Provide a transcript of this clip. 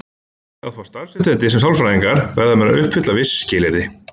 Til að fá starfsréttindi sem sálfræðingar verða menn að uppfylla viss skilyrði.